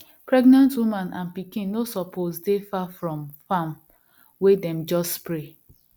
pregnant woman and pikin no suppose dey far from farm wey dem just spray